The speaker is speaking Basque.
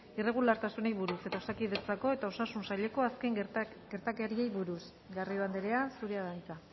irregulartasunei buruz eta osakidetzako eta osasun saileko azken gertaerei buruz garrido andrea zurea da hitza